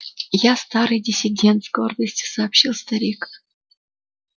я старый диссидент с гордостью сообщил старик